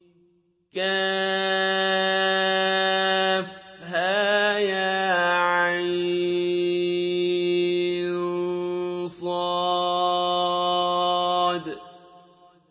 كهيعص